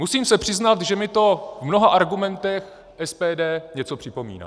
Musím se přiznat, že mi to v mnoha argumentech SPD něco připomíná.